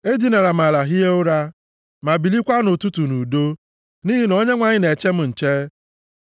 Edinara m ala, hie ụra, ma bilikwa nʼụtụtụ nʼudo, nʼihi na Onyenwe anyị na-eche m nche.